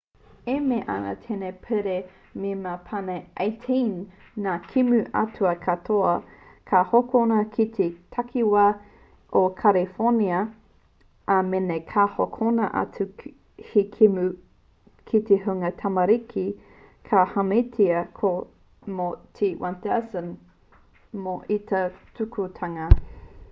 e mea ana tēnei pire me mau pane 18 ngā kēmu ataata katoa ka hokona ki te takiwā o kariwhōnia ā mēna ka hokona atu he kēmu ki te hunga tamariki ka hāmenetia koe mō te $1,000 mo ia tūkinotanga